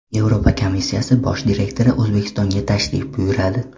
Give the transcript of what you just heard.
Yevropa komissiyasi bosh direktori O‘zbekistonga tashrif buyuradi.